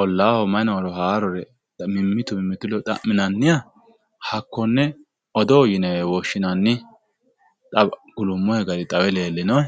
ollaaho mayi nooro haarore mimmitu mimmitu leyo xaminanniha hakkonne okdoo yinewe woshshinanni